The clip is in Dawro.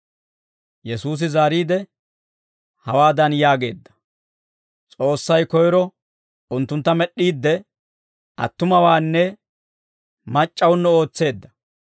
Yesuusi zaariide, hawaadan yaageedda; «S'oossay koyro unttuntta med'd'iidde, attumawaanne mac'c'awuno ootseedda.